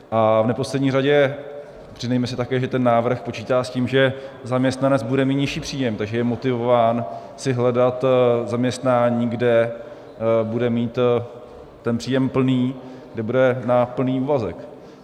A v neposlední řadě přiznejme si také, že ten návrh počítá s tím, že zaměstnanec bude mít nižší příjem, takže je motivován si hledat zaměstnání, kde bude mít ten příjem plný, kde bude na plný úvazek.